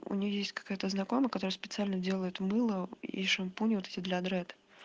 у нее есть какая-то знакомая которая специально делает мыло и шампунь вот эти для дред